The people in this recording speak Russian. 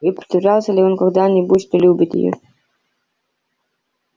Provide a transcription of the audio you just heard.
и притворялся ли он когда-нибудь что любит её